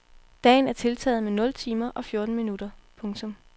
Dagen er tiltaget med nul timer og fjorten minutter. punktum